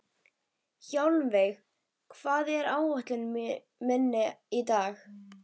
Hjálmveig, hvað er á áætluninni minni í dag?